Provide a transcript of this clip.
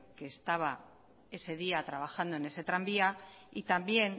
que estaba ese día trabajando en ese tranvía y también